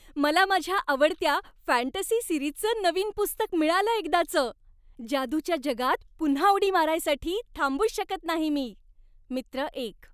मला माझ्या आवडत्या फॅन्टसी सिरीजचं नवीन पुस्तक मिळालं एकदाचं. जादूच्या जगात पुन्हा उडी मारायसाठी थांबूच नाही शकत मी! मित्र एक